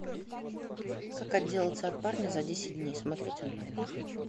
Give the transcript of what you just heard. как отделаться от парня за десять дней смотреть онлайн